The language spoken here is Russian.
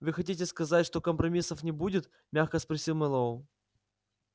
вы хотите сказать что компромиссов не будет мягко спросил мэллоу